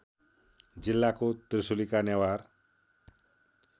जिल्लाको त्रिशुलीका नेवार